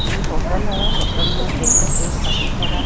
ये होटल है होटल में टेबल पे काफी सारा--